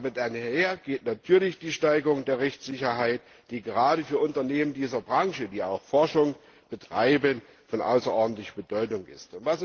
Damit einher geht natürlich die Steigerung der Rechtssicherheit, die gerade für Unternehmen dieser Branche, die auch Forschung betreiben, von außerordentlicher Bedeutung ist.